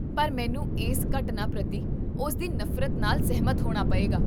ਪਰ, ਮੈਨੂੰ ਇਸ ਘਟਨਾ ਪ੍ਰਤੀ ਉਸਦੀ ਨਫ਼ਰਤ ਨਾਲ ਸਹਿਮਤ ਹੋਣਾ ਪਏਗਾ